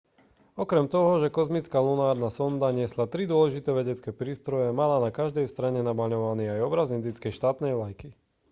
okrem toho že kozmická lunárna sonda niesla tri dôležité vedecké prístroje mala na každej strane namaľovaný aj obraz indickej štátnej vlajky